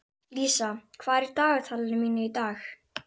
Lísa, hvað er á dagatalinu mínu í dag?